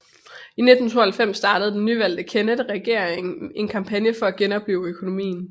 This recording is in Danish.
I 1992 startede den nyvalgte Kennett regering en kampagne for at genoplive økonomien